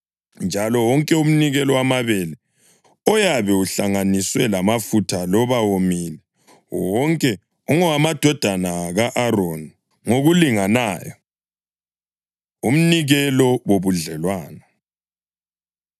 njalo wonke umnikelo wamabele oyabe uhlanganiswe lamafutha loba womile, wonke ungowamadodana ka-Aroni ngokulinganayo.’ ” Umnikelo Wobudlelwano